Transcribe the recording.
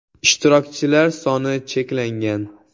Ishtirokchilar soni cheklangan.